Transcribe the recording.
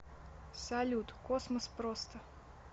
салют космос просто